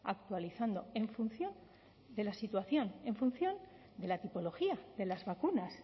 actualizando en función de la situación en función de la tipología de las vacunas